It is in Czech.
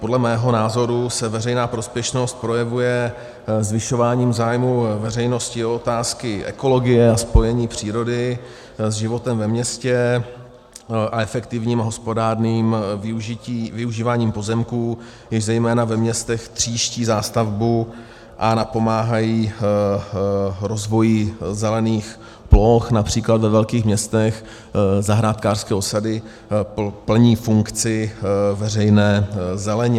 Podle mého názoru se veřejná prospěšnost projevuje zvyšováním zájmu veřejnosti o otázky ekologie a spojení přírody s životem ve městě a efektivním, hospodárným využíváním pozemků, jež zejména ve městech tříští zástavbu a napomáhají rozvoji zelených ploch, například ve velkých městech zahrádkářské osady plní funkci veřejné zeleně.